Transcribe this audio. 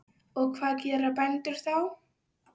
Og hvað gera bændur þá?